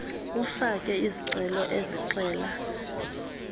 ufake izicelo ezixela